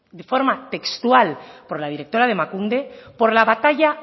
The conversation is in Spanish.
de forma textual por la directora de emakunde por la batalla